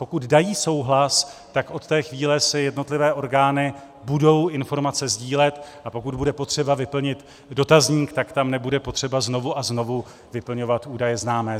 Pokud dají souhlas, tak od té chvíle si jednotlivé orgány budou informace sdílet, a pokud bude potřeba vyplnit dotazník, tak tam nebude potřeba znovu a znovu vyplňovat údaje známé.